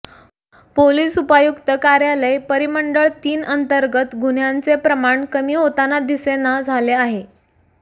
police उपायुक्त कार्यालय परिमंडळ तीन अंतर्गत गुन्ह्यांचे प्रमाण कमी होताना दिसेना झाले आहे